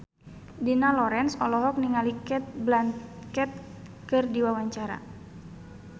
Dina Lorenza olohok ningali Cate Blanchett keur diwawancara